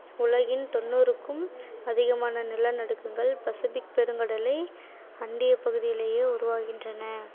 உலகின் தொண்ணூறுக்கும் அதிகமான நிலநடுக்கங்கள் பசுபிக் பெருங்கடலை அண்டிய பகுதியிலேயே உருவாகின்றன